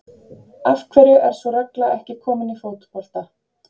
Af hverju er sú regla ekki komin í fótbolta?